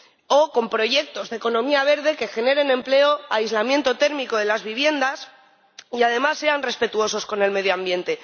o con proyectos de economía verde que generen empleo, como el aislamiento térmico de las viviendas y, además, sean respetuosos con el medio ambiente.